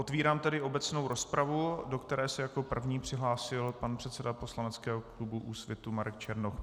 Otvírám tedy obecnou rozpravu, do které se jako první přihlásil pan předseda Poslaneckého klubu Úsvitu Marek Černoch.